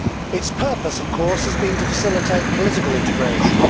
Its purpose, of course, has been to facilitate political integration.